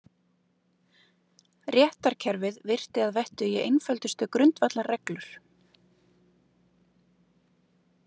Réttarkerfið virti að vettugi einföldustu grundvallarreglur.